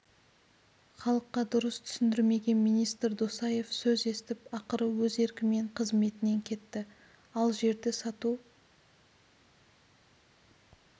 халыққа дұрыс түсіндірмеген министр досаев сөз естіп ақыры өз еркімен қызметінен кетті ал жерді сату